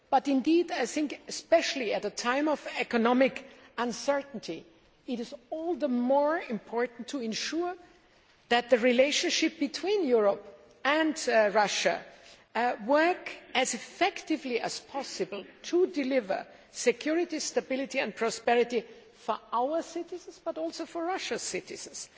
However, especially at a time of economic uncertainty, I think it is all the more important to ensure that the relationship between Europe and Russia works as effectively as possible to deliver security, stability and prosperity for our citizens and also for Russia's citizens.